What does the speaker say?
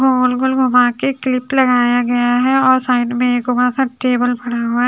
गोल गोल घुमाके क्लिप लगाया गया है और साइड मे एक बड़ा सा टेबल पड़ा हुआ है।